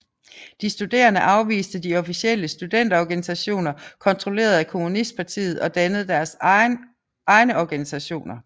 De studerende afviste de officielle studenterorganisationer kontrolleret af kommunistpartiet og dannede deres egne organisationer